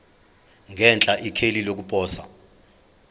ngenhla ikheli lokuposa